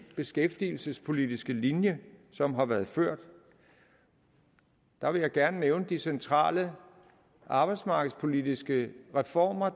beskæftigelsespolitiske linje som har været ført der vil jeg gerne nævne de centrale arbejdsmarkedspolitiske reformer